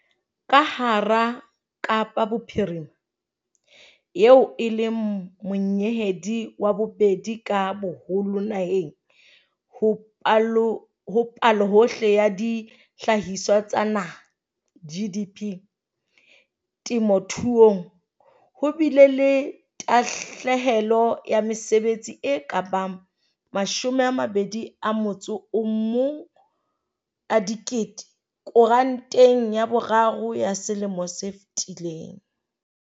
Ka hara Kapa Bophirima, eo e leng monyehedi wa bobedi ka boholo naheng ho Palohohle ya Dihlahiswa tsa Naha, GDP, temothuong, ho bile le tahlehelo ya mesebetsi e ka bang mashome a mabedi a motso o mong a dikete koranteng ya boraro ya selemo se fetileng.